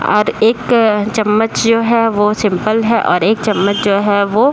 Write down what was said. और एक चम्मच जो है वो सिंपल है और एक चम्मच जो है वो --